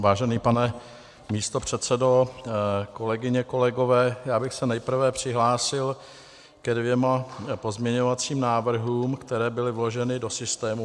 Vážený pane místopředsedo, kolegyně, kolegové, já bych se nejprve přihlásil ke dvěma pozměňovacím návrhům, které byly vloženy do systému.